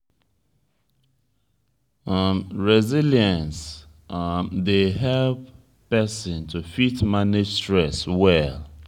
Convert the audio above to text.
resilience um dey help person to fit manage stress well